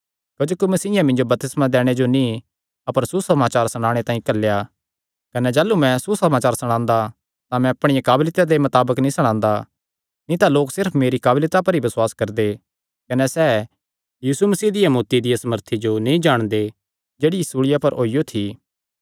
क्जोकि मसीयें मिन्जो बपतिस्मा दैणे जो नीं अपर सुसमाचार सणाणे तांई घल्लेया ऐ कने जाह़लू मैं सुसमाचार सणांदा तां मैं अपणिया काबलियता दे मताबक नीं सणांदा नीं तां लोक सिर्फ मेरी काबलियता पर ई बसुआस करदे कने सैह़ यीशु मसीह दिया मौत्ती दिया सामर्थी जो नीं जाणदे जेह्ड़ी सूल़िया पर होईयो थी